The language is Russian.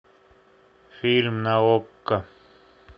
фильм на окко